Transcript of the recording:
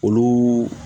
Olu